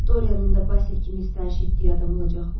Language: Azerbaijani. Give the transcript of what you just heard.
Doryanın da Basil kimi sitayiş etdiyi adam olacaqmı?